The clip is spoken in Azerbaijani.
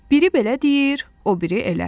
Biri belə deyir, o biri elə.